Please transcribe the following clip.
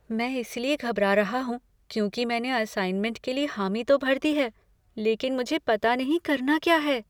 मैं इसलिए घबरा रहा हूँ, क्योंकि मैंने असाइनमेंट के लिए हामी तो भर दी है, लेकिन मुझे पता नहीं करना क्या है।